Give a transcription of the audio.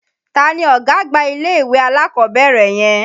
Ta ni ọ̀gá àgbà ilé-ìwé alákọ̀ọ́bẹ̀rẹ̀ yẹn?